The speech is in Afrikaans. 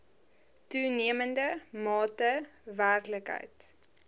toenemende mate werklikheid